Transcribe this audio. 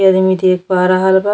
ये आदमी देख रहल बा।